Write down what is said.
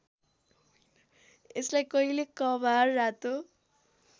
यसलाई कहिले कभार रातो